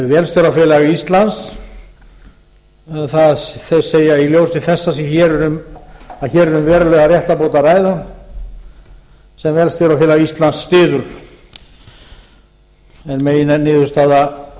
vélstjórafélag íslands þeir segja í ljósi þess að hér er um verulega réttarbót að ræða sem vélstjórafélag íslands styður er meginniðurstaða